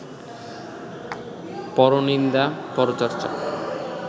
পরনিন্দা, পরচর্চা